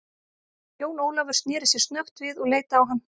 Jón Ólafur sneri sér snöggt við og leit á hann.